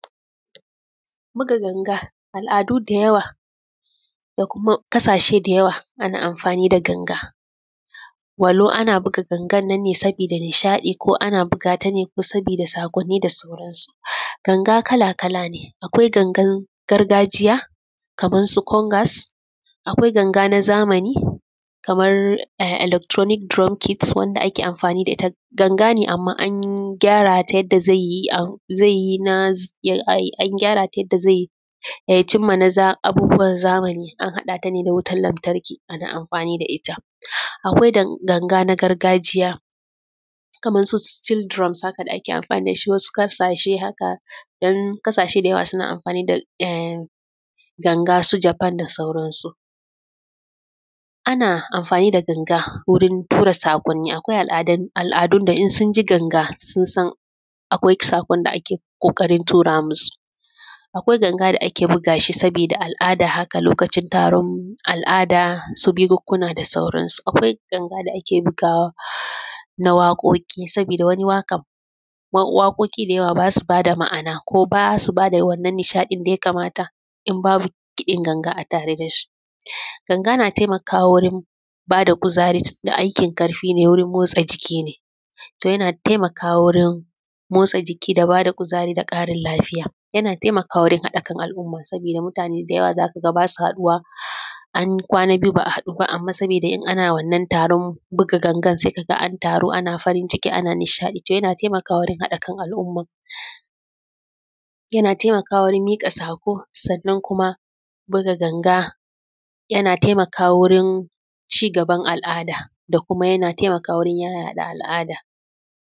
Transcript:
Buga ganga al’adu da yawa da kuma ƙasashe da yawa ana amfani da ganga walau ana buga ganga nan ne sabida nishaɗi ko ana buga ta ne saboda saƙonni da sauran su. Ganga kala kala ne, akwai gangan na gargajiya kamar su kongas, akwai ganga na zamani kamar electronic drum kit Wanda ake amfani da ita ganga ne amma an gyarata yadda zai cimma abubuwa na zamani. An haɗa ta ne da wutar lartarki ana amfani da ita. Akwai ganga na gargajiya kamar su sets drums da ake amfani da shi haka wasu ƙasashe haka. Don ƙashashe da yawa suna amfani da ganga su Japan da sauran su. Ana amfani da ganga wurin tura saƙoni, akwai al’adun da in sun ji ganga sun san akwai saƙon da ake ƙoƙarin tura masu. Akwai ganga da ake buga shi sabida al’ada haka lokacin taron al’ada su bukukuna da sauransu. Akwai ganga da ake bugawa na waƙoƙi sabida wani waƙan waƙoƙi da yawa ba su ba da ma'ana, ko ba su bada wannan nishaɗi da ya kamata in babu kiɗin ganga a tare da su. Ganga na taimakawa wurin ba da kuzari tunda aikin ƙarfi ne wurin motsa jiki ne, so yana taimakawa wurin motsa jiki da ba da kuzari, da ƙarin lafiya. Yana taimakawa wurin haɗa kan al’umma sabida mutane da yawa za ka ga ba su haɗuwa, an kwana biyu ba a haɗu ba amma sabida in an wannan taron buga ganga sai kaga an taru ana farin ciki ana nishaɗi. Yana taimakawa wurin haɗa kan al’umma, yana taimakawa wurin miƙa saƙo, sannan kuma buga ganga yana taimakawa wurin cigaban al’ada da kuma yana taimakawa wurin yaɗa al’ada.